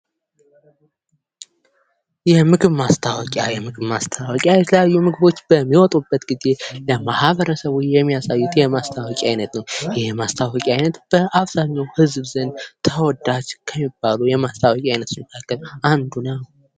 የምግብ ማስታወቂያ የምግብ ማስታወቂያ የተለያዩ ምግቦች በሚወጡበት ጊዜ ለማህበረሰቡ የሚያስታወቂያ አይነት ነው። ይህ የማስታወቂያ ዓይነት ዘንድ ተወዳጅ ከሚባሉ የማስታወቂያ ዓይነቶች መካከል አንዱ ነው ።